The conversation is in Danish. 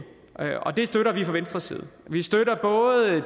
og det støtter vi fra venstres side vi støtter